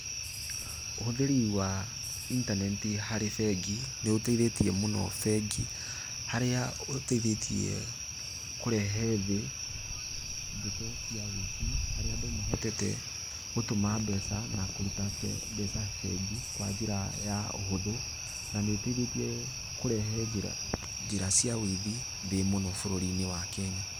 Ũhũthĩri wa intaneti harĩ bengi nĩ ũteithĩtie mũno bengi, harĩa ũteithĩtie kũrehe thĩ ndeto cia wũici harĩa andũ mahotete gũtũma mbeca na kũruta mbeca bengi kwa njĩra ya ũhũthũ, na nĩ ũteithĩtie kũrehe njĩra cia ũithi thĩ mũno bũrũri-inĩ wa Kenya.